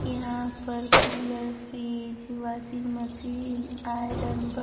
यहां पर cooler fridge washing machine iron --